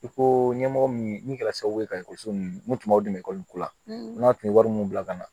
I ko ɲɛmɔgɔ min kɛra sababu ye ka ekɔliso ninnu tun b'aw dɛmɛ ko la n'aw tun ye wari mun bila ka na